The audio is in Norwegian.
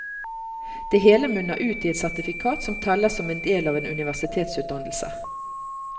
Det hele munner ut i et sertifikat som teller som en del av en universitetsutdannelse.